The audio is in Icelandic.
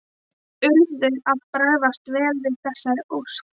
Þeir urðu að bregðast vel við þessari ósk.